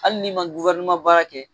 Hali n'i ma baara kɛ